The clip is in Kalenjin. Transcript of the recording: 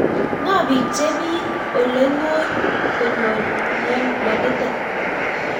Ng'o pik chepii olengoony konyor mionitok?